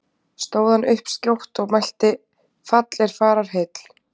Stóð hann upp skjótt og mælti: Fall er fararheill!